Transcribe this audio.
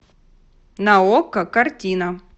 на окко картина